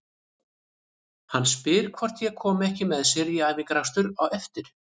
Hann spyr hvort ég komi ekki með sér í æfingaakstur á eftir.